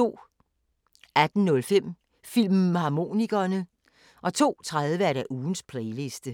18:05: Filmharmonikerne 02:30: Ugens Playliste